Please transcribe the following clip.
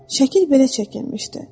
Şəkil belə çəkilmişdi.